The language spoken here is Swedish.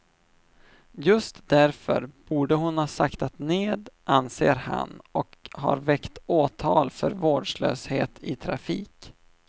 Just därför borde hon ha saktat ned, anser han, och har väckt åtal för vårdslöshet i trafik.